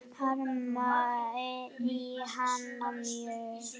Harma ég hana mjög.